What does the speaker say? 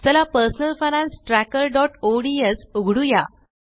चला personal finance trackerओडीएस उघडूया